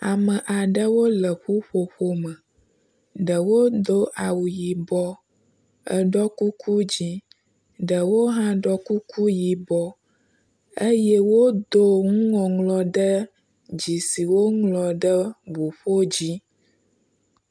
Ame aɖewo le ƒuƒoƒo me. Ɖewo do awu yibɔ eɖɔ kuku dzi. Ɖewo hã ɖɔ kuku yibɔ eye wodo nuŋɔŋlɔ ɖe ddzi si woŋlɔ ɖe ŋuƒo dzi.